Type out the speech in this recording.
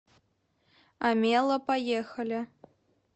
омела поехали